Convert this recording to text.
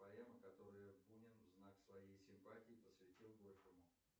поэма которую бунин в знак своей симпатии посвятил горькому